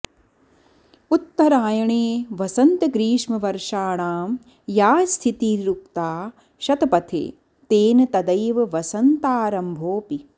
उत्तरायणे वसन्तग्रीष्मवर्षाणां या स्थितिरुक्ता शतपथे तेन तदैव वसन्तारम्भोऽपि